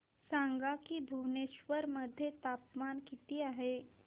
सांगा की भुवनेश्वर मध्ये तापमान किती आहे